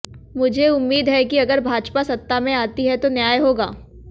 मुझे उम्मीद है कि अगर भाजपा सत्ता में आती है तो न्याय होगा